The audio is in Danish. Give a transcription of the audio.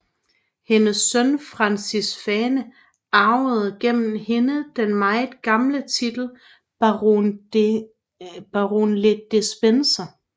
Hendes søn Francis Fane arvede gennem hende den meget gamle titel Baron le Despencer